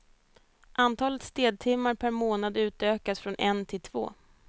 Antalet städtimmar per månad utökas från en till två.